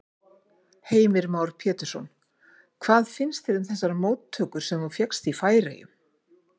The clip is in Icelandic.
Heimir Már Pétursson: Hvað finnst þér um þessar móttökur sem þú fékkst í Færeyjum?